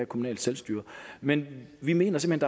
kommunalt selvstyre men vi mener simpelt